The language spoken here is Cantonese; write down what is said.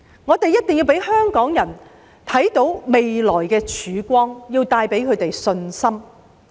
我們一定要讓香港人看到未來的曙光，令他們有信心。